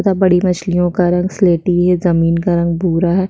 तथा बड़ी मछलियो का रंग स्लेटी है जमीन का रंग भूरा है।